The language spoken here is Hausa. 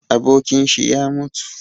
Abokinshi ya mutu